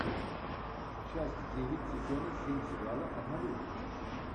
часть девять сезона семь сериала однолюбы